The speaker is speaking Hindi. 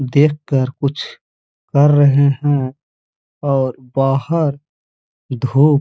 देखकर कुछ कर रहे हैं और बाहर धूप --